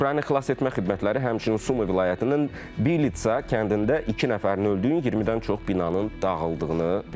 Ukrayna Xilasetmə Xidmətləri həmçinin Sumı vilayətinin Billitsə kəndində iki nəfərin öldüyü, 20-dən çox binanın dağıldığını bildirirlər.